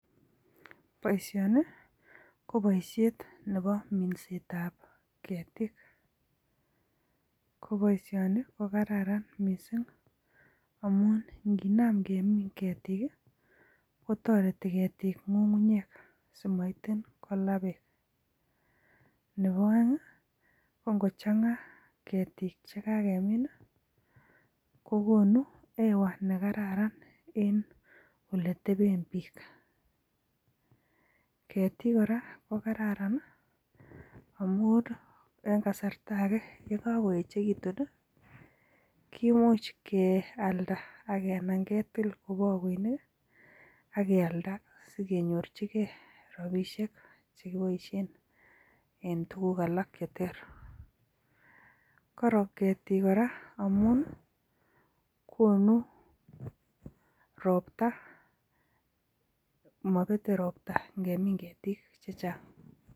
Boishoni ko boishet nebo minset ap ketik ko boishoni ko kararan missing amun nginam kemin ketik kotoreti ketik ng'ung'unyek simait kolaa beek nebo oeng ko ngochanga ketik chikakemin kokonu hewa nekararan en oletepen biik ketik kora ko kararan amun eng kasarta ake yekakoechekitun komuch kialda anan ketil ko pakoinik akealda sikenyorchike ropisiek chekiboishen en tukuk alak che ter korom ketik kora amun konu ropta mapete ropta ngemin ketik.